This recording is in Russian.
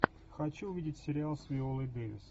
хочу увидеть сериал с виолой дэвис